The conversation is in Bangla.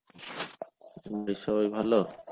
বাড়ির সবাই ভালো?